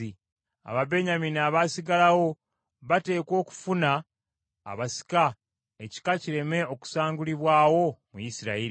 Ababenyamini abaasigalawo bateekwa okufuna abasika, ekika kireme okusangulibwawo mu Isirayiri.